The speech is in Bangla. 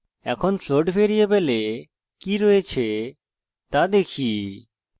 এখন float ভ্যারিয়েবলে কি রয়েছে তা দেখি